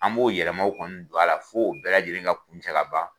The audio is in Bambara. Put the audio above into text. An b'o yɛlɛmamaw kɔnɔ don a la fo o bɛɛ lajɛlen ka kun cɛ ka ban.